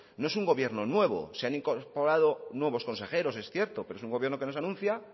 no es un gobierno nuevo se han incorporado nuevos consejeros es cierto pero es un gobierno que nos anuncia